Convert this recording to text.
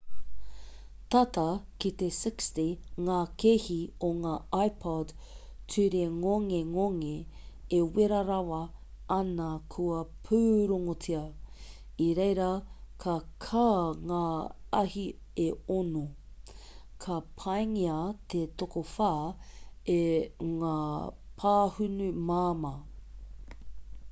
tata ki te 60 ngā kēhi o ngā ipod turingongengonge e wera rawa ana kua pūrongotia i reira ka kā ngā ahi e ono ka pāngia te tokowhā e ngā pāhunu māmā